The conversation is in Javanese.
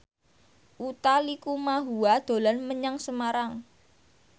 Utha Likumahua dolan menyang Semarang